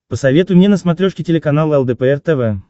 посоветуй мне на смотрешке телеканал лдпр тв